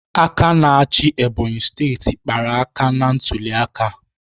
Aka na-achị Ebonyi steeti kpara aka ntuliaka